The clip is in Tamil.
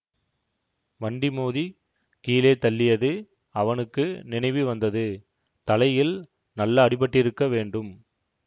வண்டி மோதி கீழே தள்ளியது அவனுக்கு நினைவு வந்தது தலையில் நல்ல அடிபட்டிருக்க வேண்டும்